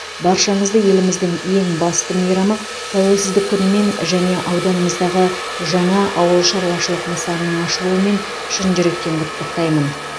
баршаңызды еліміздің ең басты мейрамы тәуелсіздік күнімен және ауданымыздағы жаңа ауыл шаруашылық нысанының ашылуымен шын жүректен құттықтаймын